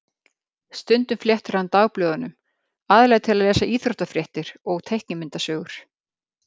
Stundum flettir hann dagblöðunum, aðallega til að lesa íþróttafréttir og teiknimyndasögur.